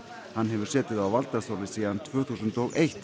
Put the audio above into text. hann hefur setið á valdastóli síðan tvö þúsund og eitt